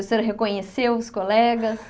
O senhor reconheceu os colegas?